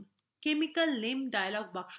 chemical name dialog box প্রদর্শিত হচ্ছে